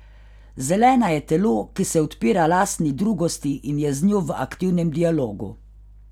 Zelena je telo, ki se odpira lastni drugosti in je z njo v aktivnem dialogu.